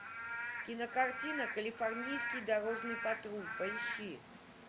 кинокартина калифорнийский дорожный патруль поищи